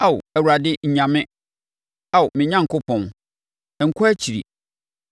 Ao, Awurade nnya me. Ao me Onyankopɔn, nkɔ akyiri!